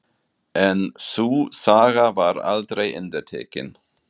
En sú saga var aldrei endurtekin.